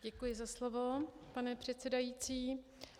Děkuji za slovo, pane předsedající.